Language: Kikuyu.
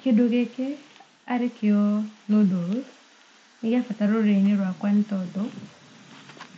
Kĩndũ gĩkĩ arĩkĩo noodles nĩ gĩa bata mũno rũrĩrĩ-inĩ rwakwa nĩ tondũ